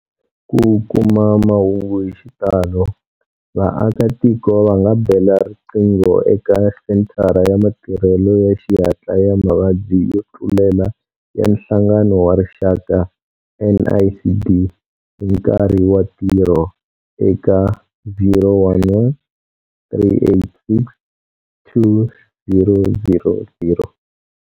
Ku kuma mahungu hi xitalo, vaakatiko va nga bela riqingho eka Senthara ya Matirhelo ya Xihatla ya Mavabyi yo Tlulela ya Nhlangano wa Rixaka, NICD, hi nkarhi wa ntirho eka- 011 386 2000.